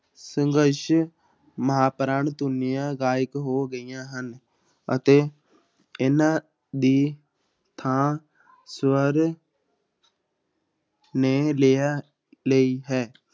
ਸੰਘਰਸ਼ ਮਹਾਂਪਰਾਣ ਧੁਨੀਆਂ ਗਾਇਬ ਹੋ ਗਈਆਂ ਹਨ ਅਤੇ ਇਹਨਾਂ ਦੀ ਥਾਂ ਸਵਰ ਨੇ ਲੈ ਲਈ ਹੈ।